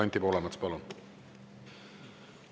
Anti Poolamets, palun!